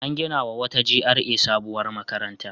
An ginawa wata GRA sabuwar makaranta.